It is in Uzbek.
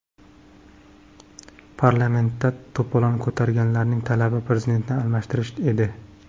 Parlamentda to‘polon ko‘targanlarning talabi Prezidentni almashtirish edi.